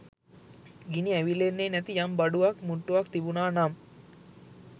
ගිනි ඇවිල්ලෙන්නෙ නැති යම් බඩුවක් මුට්ටුවක් තිබුනා නම්